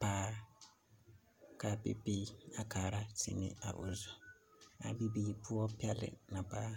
ba kaa bibiiri a kaara seni a o zu a bibiiri poɔ pelɛɛ na paa